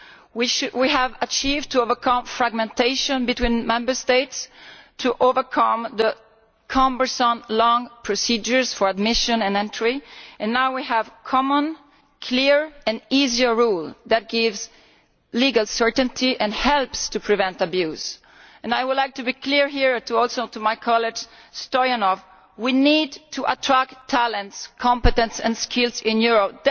We have succeeded in overcoming fragmentation between Member States, in overcoming the cumbersome, long procedures for admission and entry, and now we have a common, clear and easier rule that gives legal certainty and helps to prevent abuse. I would like to be clear here this partly in response to my colleague MrStoyanov that we need to attract talent, competence and skills to Europe.